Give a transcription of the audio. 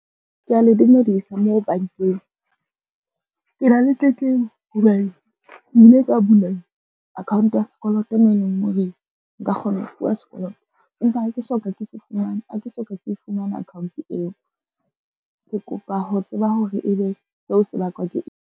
Kea le dumedisa moo bankeng. Ke na le tletlebo hobane ke ile ka bula account ya sekoloto mo e leng ho re nka kgona ho fuwa sekoloto. Empa ha ke soka ke se fumana, ha ke soka ke fumana account eo. Ke kopa ho tseba hore e be seo se bakwa ke eng.